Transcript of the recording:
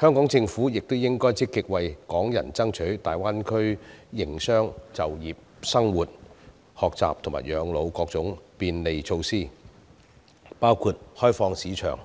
香港政府亦應積極為港人爭取在大灣區營商、就業、生活、學習和養老的各種便利措施，包括開放市場、